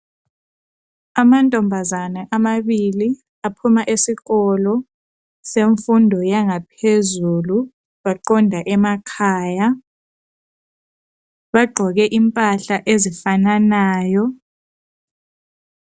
Amantombazana amabili aphuma esikolo semfundo yangaphezulu, baqonda emakhaya bagqoke impahla ezifananayo.